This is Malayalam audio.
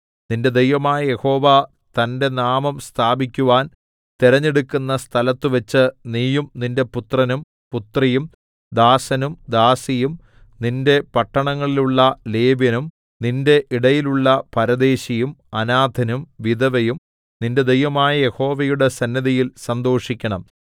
നിന്റെ ദൈവമായ യഹോവ തന്റെ നാമം സ്ഥാപിക്കുവാൻ തിരഞ്ഞെടുക്കുന്ന സ്ഥലത്തുവച്ച് നീയും നിന്റെ പുത്രനും പുത്രിയും ദാസനും ദാസിയും നിന്റെ പട്ടണങ്ങളിലുള്ള ലേവ്യനും നിന്റെ ഇടയിലുള്ള പരദേശിയും അനാഥനും വിധവയും നിന്റെ ദൈവമായ യഹോവയുടെ സന്നിധിയിൽ സന്തോഷിക്കണം